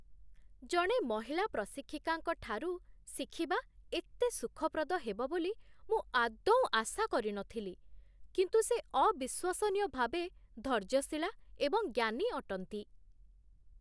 ଜଣେ ମହିଳା ପ୍ରଶିକ୍ଷିକାଙ୍କଠାରୁ ଶିଖିବା ଏତେ ସୁଖପ୍ରଦ ହେବ ବୋଲି ମୁଁ ଆଦୌ ଆଶା କରିନଥିଲି, କିନ୍ତୁ ସେ ଅବିଶ୍ୱସନୀୟ ଭାବେ ଧୈର୍ଯ୍ୟଶୀଳା ଏବଂ ଜ୍ଞାନୀ ଅଟନ୍ତି।